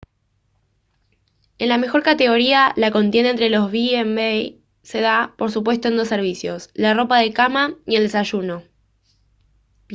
en la mejor categoría la contienda entre los b&b se da por supuesto en dos servicios la ropa de cama y el desayuno